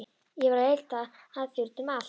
Ég var að leita að þér út um allt.